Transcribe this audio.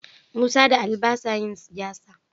Musa da Ali ba sa yin siyasa.